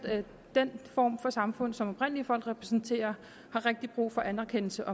den form for samfund som oprindelige folk repræsenterer har rigtig brug for anerkendelse